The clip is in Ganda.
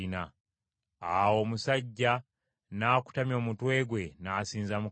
Awo omusajja n’akutamya omutwe gwe n’asinza Mukama .